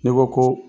N'i ko ko